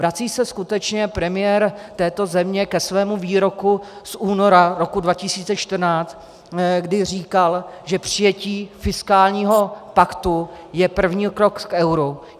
Vrací se skutečně premiér této země ke svému výroku z února roku 2014, kdy říkal, že přijetí fiskálního paktu je první krok k euru?